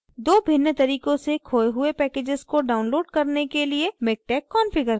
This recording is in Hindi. दो भिन्न तरीकों से खोये हुए packages को download करने के लिए miktex configure करना